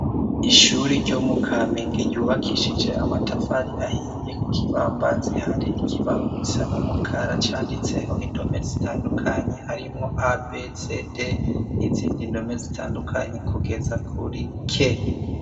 Ishuri ryo mu kamenge ryubakishije amatafari ahiye, ku kibambazi hari ikibaho gisa n'umukara canditseho indome zitandukanye harimo a,b,c,d n'izindi indome zitandukanye kugeza kuri "k".